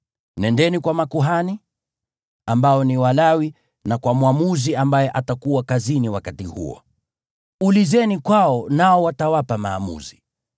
Nendeni kwa makuhani, ambao ni Walawi, na kwa mwamuzi ambaye atakuwa kazini wakati huo. Ulizeni kwao nao watawapa maamuzi.